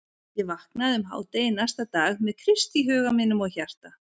Ég vaknaði um hádegi næsta dag með Krist í huga mínum og hjarta.